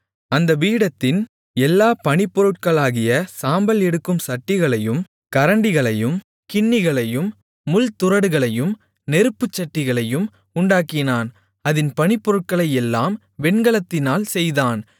அந்தப் பீடத்தின் எல்லா பணிப்பொருட்களாகிய சாம்பல் எடுக்கும் சட்டிகளையும் கரண்டிகளையும் கிண்ணிகளையும் முள்துறடுகளையும் நெருப்புச் சட்டிகளையும் உண்டாக்கினான் அதின் பணிப்பொருட்களையெல்லாம் வெண்கலத்தினால் செய்தான்